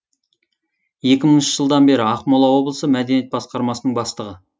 екі мыңыншы жылдан бері ақмола облысы мәдениет басқармасының бастығы